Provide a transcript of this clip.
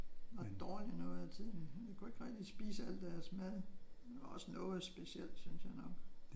Og var dårlig noget af tiden. Vi kunne ikke rigtig spise alt deres mad. Det var også noget specielt synes jeg nok